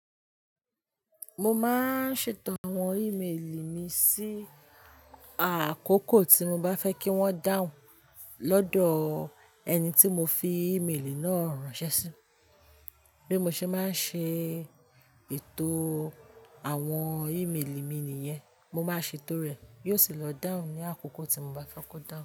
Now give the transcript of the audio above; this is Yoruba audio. Mo máa ń ṣètò àwọn ìméèlì mi sí àkókò tí mo bá fẹ́ kí wọ́n dáhùn lọ́dọ̀ ẹni tí mo fi ìméèlì náà ránṣẹ́ sí. Bí mo ṣe máa ń ṣe ètò àwọn ìméèlì mi nìyẹn, mo máa ṣètò rẹ̀, yóò sì lọ dáhùn ní àkókò tí mo bá fẹ́ kó dáhùn.